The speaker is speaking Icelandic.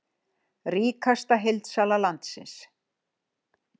Ríkasta heildsala landsins!